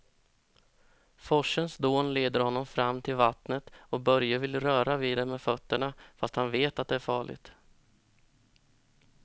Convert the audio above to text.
Forsens dån leder honom fram till vattnet och Börje vill röra vid det med fötterna, fast han vet att det är farligt.